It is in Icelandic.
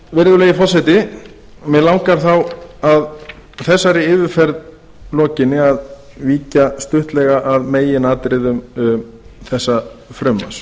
virðulegi forseti mig langar þá að þessari yfirferð lokinni að víkja stuttlega að meginatriðum þessa frumvarps